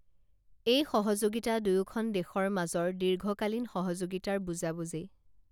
এই সহযোগিতা দুয়োখন দেশৰ মাজৰ দীৰ্ঘকালীন সহযোগিতাৰ বুজাবুজি